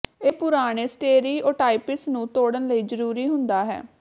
ਇਹ ਪੁਰਾਣੇ ਸਟੇਰੀਓਟਾਈਪਸ ਨੂੰ ਤੋੜਨ ਲਈ ਜਰੂਰੀ ਹੁੰਦਾ ਹੈ